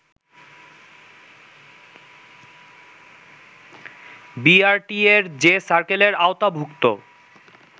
বিআরটিএ’র যে সার্কেলের আওতাভূক্ত